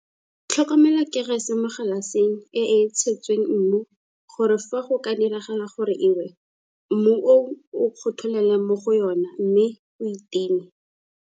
Tlhomela kerese mo galaseng e e tshetsweng mmu gore fa go ka diragala gore e we mmu oo o kgotholele mo go yona mme o e time.